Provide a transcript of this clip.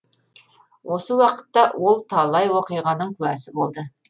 осы уақытта ол талай оқиғаның куәсі болды